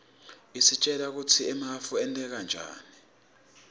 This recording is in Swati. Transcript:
isitjela kutsi emafu enteka njani